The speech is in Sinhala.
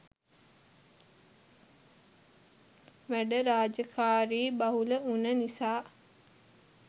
වැඩ රාජකාරී බහුල උන නිසා